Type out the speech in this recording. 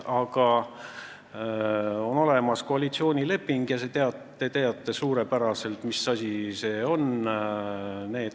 Aga on olemas koalitsioonileping ja te teate suurepäraselt, mis asi see on.